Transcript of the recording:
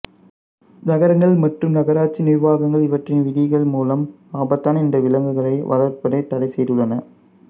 நகரங்கள் மற்றும் நகராட்சி நிர்வாகங்கள் இவற்றின் விதிகள் மூலம் ஆபத்தான இந்த விலங்குகளை வளர்ப்பதைத் தடைசெய்துள்ளன